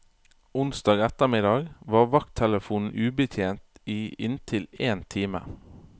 Onsdag ettermiddag var vakttelefonen ubetjent i inntil en time.